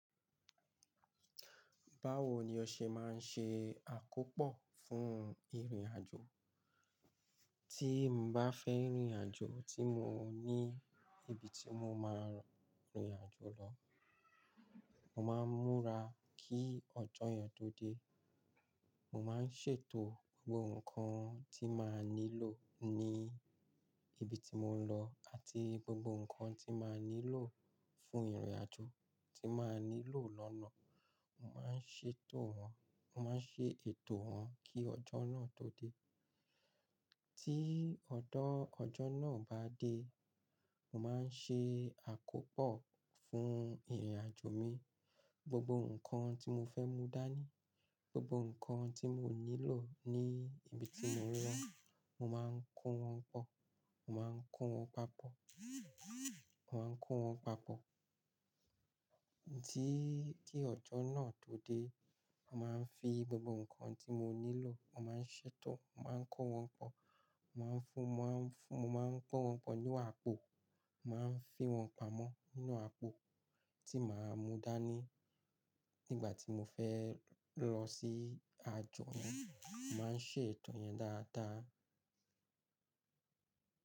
Báwo ni o ṣe máa ń ṣe àkópò fún ìrìnàjò? Tí mo bá fẹ́ rìnrìnàjò tí mo ní ibi tí mo máa rìnrìnàjò lọ, mo máa ń múra kí ọjọ́ yẹn tó dé. Mo máa ń ṣètò gbogbo nǹkan tí màá nílò ní ibi tí mò ń lọ àti gbogbo nǹkan tí màá nílò fún ìrìnàjò tí màá nílò lọ́nà. Mo máa ń ṣètò wọn, mo máa ń ṣe ètò wọn kí ọjọ́ náà tó dé. Tí ọdọ́ ọjọ́ náà bá dé, mo máa ń ṣe àkópò fún ìrìnàjò mi. Gbogbo nǹkan tí mo fẹ́ mú dání, gbogbo nǹkan tí mò nílò ní ibi tí mò ń wọ́n, mo máa ń kó wọn pọ̀. Mo máa ń kó wọn papọ̀. Mo máa ń kó wọn papọ̀. Tí ti ọjọ́ náà tó dé, màá ń fi gbogbo nǹkan tí mo nílò, mo máa ń ṣètò, mo máa ń kó wọn pọ̀, mo máa ń fún, mo máa ń pọ́n wọn pọ̀ nínú àpò, mo máa ń fi wọn pamọ́ nínú àpò tí màá mú dání nígbà tí mo fẹ́ lọ sí àjò náà. Mo máa ń ṣe ètò yẹn dáadáa.